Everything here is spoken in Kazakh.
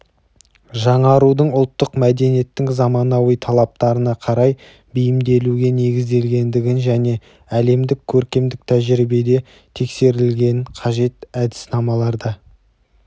жаңарудың ұлттық мәдениеттің заманауи талаптарына қарай бейімделуге негізделгендігін және әлемдік көркемдік тәжірибеде тексерілген қажетті әдіснамаларды